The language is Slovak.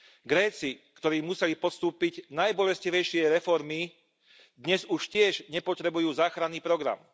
Gréci, ktorí museli podstúpiť najbolestivejšie reformy, dnes už tiež nepotrebujú záchranný program.